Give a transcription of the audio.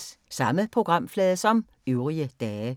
Samme programflade som øvrige dage